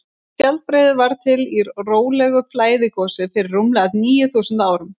skjaldbreiður varð til í rólegu flæðigosi fyrir rúmlega níu þúsund árum